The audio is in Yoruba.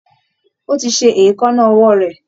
Ó ti ṣe èékánná ọwọ́ rẹ̀